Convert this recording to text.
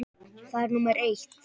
Það er númer eitt.